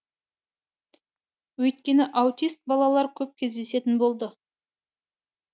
өйткені аутист балалар көп кездесетін болды